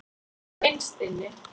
Svona innst inni.